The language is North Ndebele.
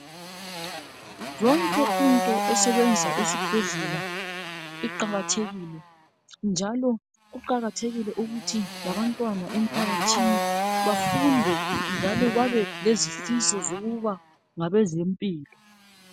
Yonke into esebenza esibhedlela iqakathekile njalo kuqakathekile ukuthi labantwana emphakathini bafunde njalo babelezifiso zokuba ngabezempilo.